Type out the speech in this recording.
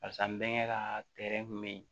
Barisa n bɛnkɛ ka kun be yen